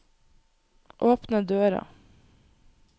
åpne døra